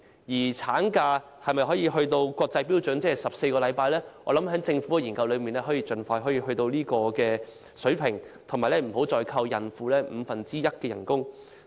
至於產假能否追上14星期的國際標準，我希望政府可以進行研究，盡快達到這個水平，而且不要再扣減孕婦五分之一的工資。